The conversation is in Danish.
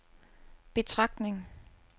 betragtning